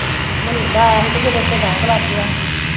ਮੰਨੇ ਦਾ ਆਇਆ ਹੀ ਫਿਰ ਓਥੇ ਦਾਗ ਲੱਗ ਗਿਆ ਹੀ ਠੀਕ ਆ ਚਲੋ